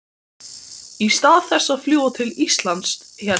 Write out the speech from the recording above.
Í stað þess að fljúga til Íslands hélt